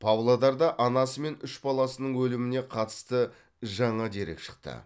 павлодарда анасы мен үш баласының өліміне қатысты жаңа дерек шықты